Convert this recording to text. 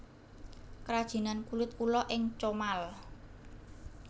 Krajinan Kulit Ula ing Comal